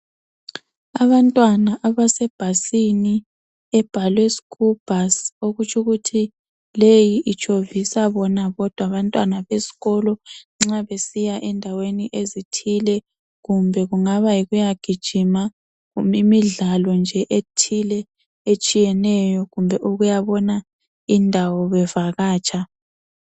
Abantwana abasebhasini ebhalwe, "school bus" okutsho ukuthi leyi itshovisa bona bodwa abantwana besikolo nxa besiya endaweni ezithile kumbe kungaba yikuyagijima loba imidlalo nje ethile etshiyeneyo kumbe ukuyabona indawo bevakatsha.